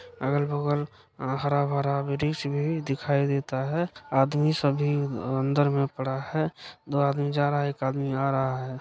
अगल बगल हरा भरा वृक्ष भी दिखाई देता है। आदमी सभी अंदर मे पड़ा है। दो आदमी जा रहा है एक आदमी आ रहा है।